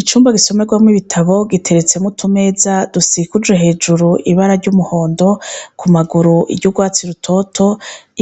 Icumba gisomerwamwo ibitabo giteretsemwo utumeza dusikujwe hejuru, ibara ry'umuhondo, ku maguru iry'urwatsi rutoto.